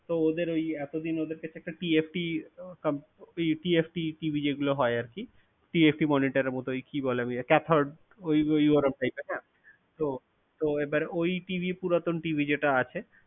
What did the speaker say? তো ওদের ওই এতদিন ওদেরকে একটা TFT comp~ ওই TFTTV যেগুলো হয় আর কি TFT monitor এর মত ওই কি বলে chathode ওই ওই ওরম type তাই না তো তো এবার ওই TV পুরাতন TV যেটা আছে